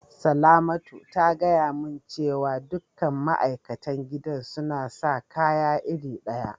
Salamatu ta gaya mun cewa dukan ma'aikatan gidan suna sa kaya iri daya.